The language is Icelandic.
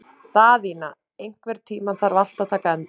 Daðína, einhvern tímann þarf allt að taka enda.